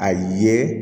A ye